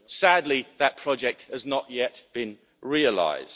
Sadly, that project has not yet been realised.